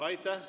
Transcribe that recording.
Aitäh!